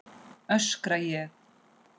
öskra ég.